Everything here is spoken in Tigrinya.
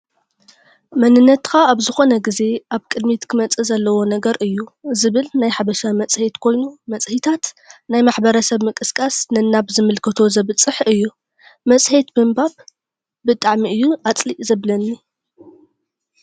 መንነትካ ኣብ ዝኮነ ግዜ ኣብ ቅድሚት ክመፅእ ዘለዎ ነገር እዩ ዝብል ናይ ሓበሻ መፅሄት ኮይኑ መፅሂታት ናይ ማሕበረሰብ ምቅስቃስ ነናብ ዝምልከቶ ዘብፅሕ እዩ። መፅሄት ምንባት ብጣዕሚ እዩ ኣፅሊእ ዘብለኒ።